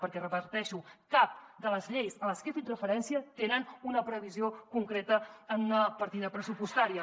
perquè ho repeteixo cap de les lleis a les que he fet referència tenen una previsió concreta en una partida pressupostària